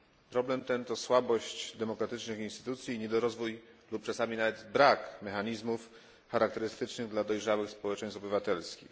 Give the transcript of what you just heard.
Problem ten to słabość demokratycznych instytucji i niedorozwój lub okresami nawet brak mechanizmów charakterystycznych dla dojrzałych społeczeństw obywatelskich.